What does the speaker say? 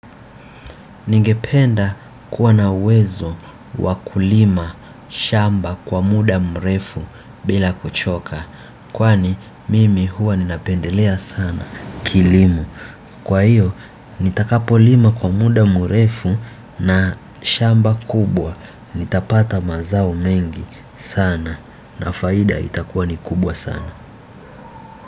Ningependa kuwa na uwezo wa kulima shamba kwa muda mrefu bila kuchoka. Kwani mimi huwa ninapendelea sana kilimo. Kwa hiyo nitakapolima kwa muda mrefu na shamba kubwa nitapata mazao mengi na faida itakua ni kubwa sana.